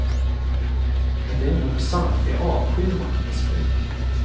Och det är nog sant för jag avskyr maktmissbruk.